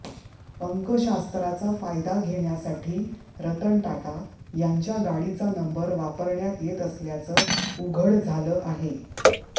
अंकशास्त्राचा फायदा घेण्यासाठी रतन टाटा यांच्या गाडीचा नंबर वापरण्यात येत असल्याचं उघड झालं आहे